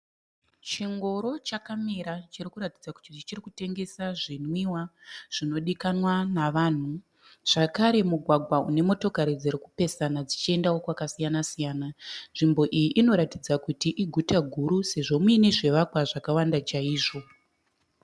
Chingoro chakamira chiri kuratidza kuti chiri kutengesa zvinwiwa zvinodikanwa navanhu. Zvakare mugwagwa une motokari dziri kupesana dzichiendao kwakasiyana siyana. Nzvimbo iyi inoratidza kuti iguta guru sezvo muine zvivakwa zvakawanda chaizvo.